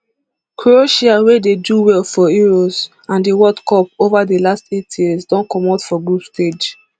croatia wia dey do well for euros and di world cup ova di last eight years don comot for group stage